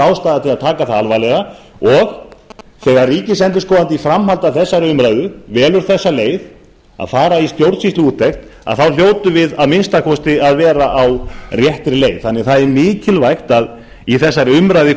ástæða til að taka hana alvarlega og þegar ríkisendurskoðandi í framhaldi af þessari umræðu velur þá leið að fara í stjórnsýsluúttekt þá hljótum við að minnsta kosti að vera á réttri leið það er því mikilvægt að í þessari umræðu